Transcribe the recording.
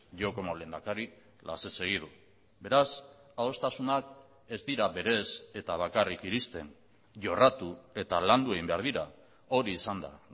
yo como lehendakari las he seguido beraz adostasunak ez dira berez eta bakarrik iristen jorratu eta landu egin behar dira hori izan da